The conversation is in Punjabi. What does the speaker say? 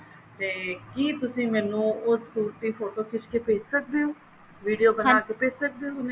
ਤੇ ਕਿ ਤੁਸੀਂ ਮੈਨੂੰ ਉਸ suit ਦੀ ਫੋਟੋ ਖਿੱਚ ਕੇ ਮੈਨੂੰ ਭੇਜ ਸਕਦੇ ਹੋ video ਬਣਾਕੇ ਭੇਜ ਸਕਦੇ ਹੋ ਹੁਣੇ